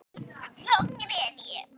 Þá grét ég.